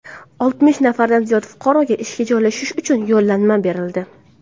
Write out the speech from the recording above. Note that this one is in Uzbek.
Oltmish nafardan ziyod fuqaroga ishga joylashish uchun yo‘llanma berildi.